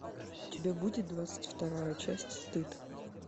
у тебя будет двадцать вторая часть стыд